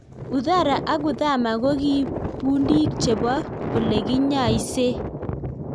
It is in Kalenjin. Uthara ak Uthama kokii pundiik chepo olekinyaisee